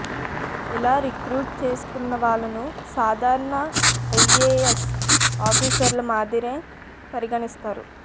ఇలా రిక్రూట్ చేసుకున్న వాళ్లను సాధారణ ఐఏఎస్ ఆఫీసర్ల మాదిరే పరిగణిస్తారు